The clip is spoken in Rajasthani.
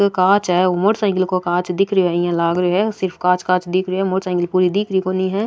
कोई कांच है ओ मोटरसाइकिल को कांच दिख रियो है इया लाग रियो है सिर्फ कांच कांच दिख रियो है मोटरसाइकिल पूरी दिख री कोणी है।